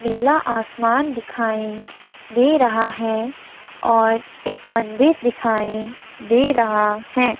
नीला आसमान दिखाई दे रहा है और एक मंदिर दिखाई दे रहा है।